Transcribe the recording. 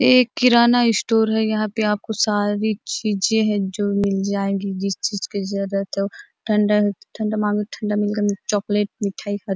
ये एक किराना स्टोर है यहाँ पे आपको सारी चीजे है जो मिल जाएगी जिस चीज की जरुरत ठंडा ठंडा मांगो मिलेगा चॉकलेट मिठाई का--